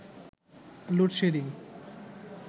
load shedding